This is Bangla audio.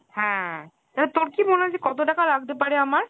হ্যাঁ , তালে তোর কি মনে হয় যে কত টাকা লাগতে পারে আমার ?